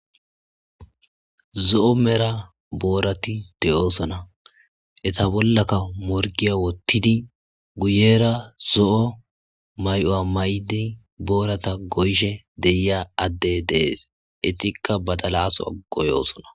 Zo,o mera boorati deyoosona eta bollaka morgiya wottidi guyera zo7o may7o7a may7di boorata goyshe deiya adde dees etikka badalasoa goyoosona.